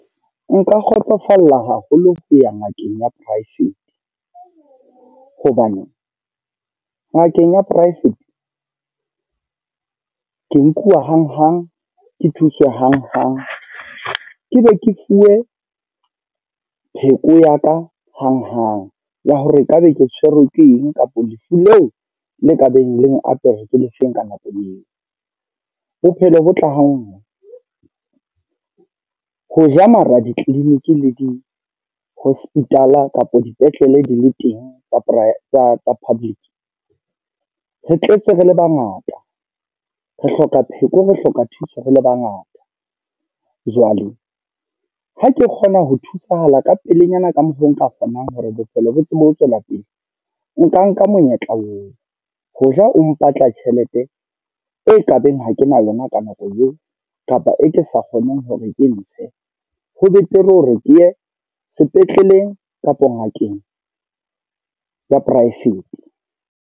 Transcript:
Nka kgotsofala haholo ho ya ngakeng ya private. Hobane ngakeng ya private ke nkuwa hanghang, ke thuswe hanghang. Ke be ke fuwe pheko ya ka hanghang ya hore ekabe ke tshwerwe ke eng kapa lefu leo le ka beng le apere ke le feng ka nako eo. Bophelo bo tla ha nngwe. Ho ja mara, di-clinic le di-hospital kapa dipetlele di le teng tsa public. Re tletse re le bangata, re hloka pheko, re hloka thuso re le bangata. Jwale ha ke kgona ho thusahala ka pelenyana ka mokgwa o nka kgonang hore bophelo bo tsebe ho tswela pele. Nka nka monyetla oo, ho ja o mpatla tjhelete e e tlabeng ho kena lona ka nako eo kapa e ke sa kgoneng hore ke ntshe. Ho betere hore ke ye sepetleleng kapo ngakeng ya private.